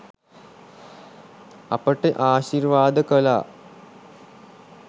අපිට ආශිර්වාද කළා.